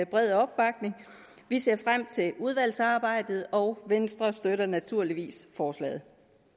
bred opbakning vi ser frem til udvalgsarbejdet og venstre støtter naturligvis forslaget